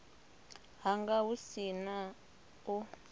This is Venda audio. hanga hu si na u